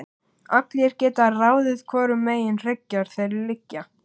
Allir geta ráðið hvorum megin hryggjar þeir liggja.